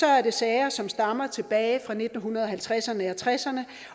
er det sager som stammer tilbage fra nitten halvtredserne og nitten tresserne